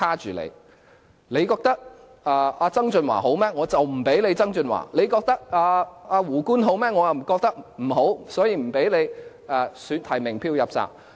如果大家覺得曾俊華好，就不給曾俊華；如果大家覺得"胡官"好，我卻覺得不好，便不給他提名票"入閘"。